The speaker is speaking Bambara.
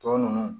Tɔ ninnu